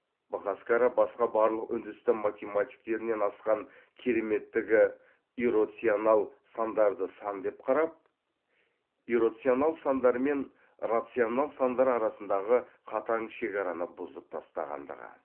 быхаскара басқа барлық үндістан математиктерінен асқан кереметтігі иррационал сандарды сан деп қарап иррационал сандар мен рационал сандар арасындағы қатаң шекараны бұзып тастағандығы